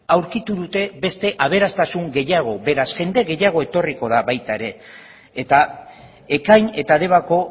aurkitu dute beste aberastasun gehiago beraz jende gehiago etorriko da baita ere eta ekain eta debako